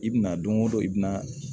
I bina don o don i bɛna